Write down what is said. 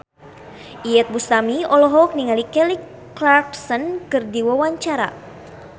Iyeth Bustami olohok ningali Kelly Clarkson keur diwawancara